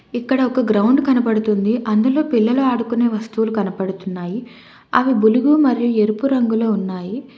ఇక్కడ ఒక గ్రౌండ్ కనబడుతుంది అందులో పిల్లలు ఆడుకునే వస్తువులు కనబడుతున్నాయి అవి బులుగు మరియు ఎరుపు రంగులో ఉన్నాయి.